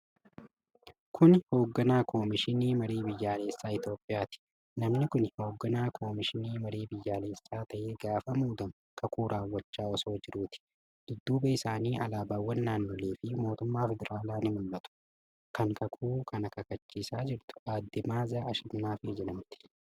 Kuni hoogganaa Komishinii Marii Biyyaalessaa Itoophiyaati. Namni kuni hogganaa Komishinii Marii Biyyaalesaa ta'ee gaafa muudamu kakuu raawwachaa osoo jiruuti. dudduuba isaanii alaabawwan naannolee fi kan mootummaa federaalaa ni mul'ata. Kan kakuu kana kakachiisaa jirtu adde Ma'aazaa Ashannaafii jedhamti.